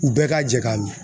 U bɛɛ ka jɛ ka min